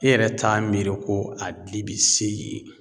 E yɛrɛ t'a miiri ko a dili bi se yen.